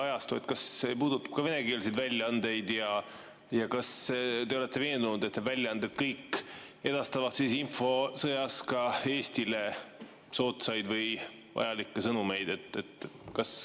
Kas see puudutab ka venekeelseid väljaandeid ja kas te olete veendunud, et kõik need väljaanded edastavad infosõjas Eestile soodsaid ja vajalikke sõnumeid?